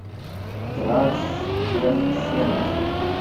транстехсервис